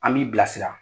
An b'i bilasira